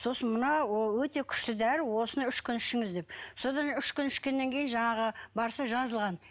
сосын мына ол өте күшті дәрі осыны үш күн ішіңіз деп содан үш күн ішкеннен кейін жаңағы барса жазылған